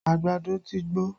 Àgbàdo ti gbó